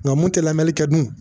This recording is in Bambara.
Nka mun tɛ lamɛnli kɛ dun